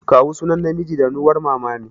Kawu sunan namiji ɗanuwar Mama ne.